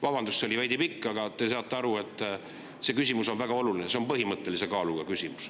Vabandust, see oli veidi pikk, aga te saate aru, see küsimus on väga oluline, see on põhimõttelise kaaluga küsimus.